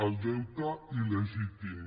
el deute il·legítim